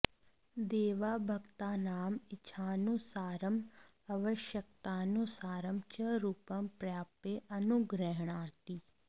देवः भक्तानाम् इच्छानुसारम् आवश्यकतानुसारं च रूपं प्राप्य अनुगृह्णाति